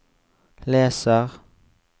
leser